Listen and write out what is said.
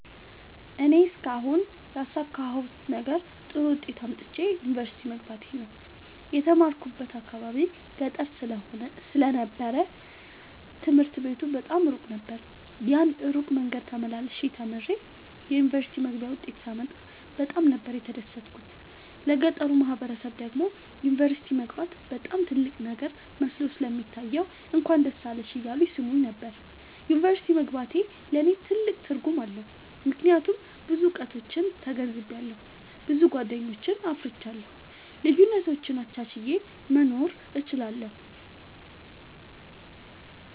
እኔ እስካሁን ያሣካሁት ነገር ጥሩ ዉጤት አምጥቼ ዩኒቨርሲቲ መግባቴ ነዉ። የተማርኩበት አካባቢ ገጠር ስለ ነበር ትምህርት ቤቱ በጣም እሩቅ ነበር። ያን እሩቅ መንገድ ተመላልሸ ተምሬ የዩኒቨርሲቲ መግቢያ ዉጤት ሳመጣ በጣም ነበር የተደሠትኩት ለገጠሩ ማህበረሠብ ደግሞ ዩኒቨርሲቲ መግባት በጣም ትልቅ ነገር መስሎ ስለሚታየዉ እንኳን ደስ አለሽ እያሉ ይሥሙኝ ነበር። ዩኒቨርሢቲ መግባቴ ለኔ ትልቅ ትርጉም አለዉ። ምክያቱም ብዙ እዉቀቶችን ተገንዝቤአለሁ። ብዙ ጎደኞችን አፍርቻለሁ። ልዩነቶችን አቻችየ መኖር እችላለሁ።